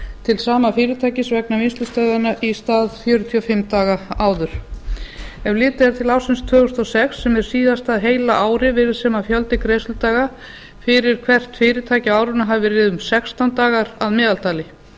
til sama fyrirtækis vegna vinnslustöðvana í stað fjörutíu og fimm daga áður ef litið er til ársins tvö þúsund og sex sem er síðasta heila árið virðist sem fjöldi greiðsludaga fyrir hvert fyrirtæki á árinu hafi verið um sextán dagar að meðaltali